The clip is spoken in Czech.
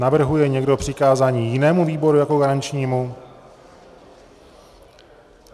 Navrhuje někdo přikázání jinému výboru jako garančnímu?